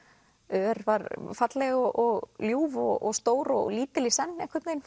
ör var falleg og ljúf og stór og lítil í senn einhvern veginn